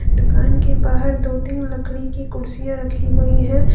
दुकान के बाहर दो तीन लकड़ी की कुर्सियां रखी गई हैं।